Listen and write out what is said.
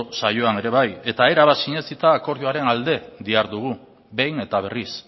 saioan ere bai eta erabat sinetsita akordioaren alde dihardugu behin eta berriz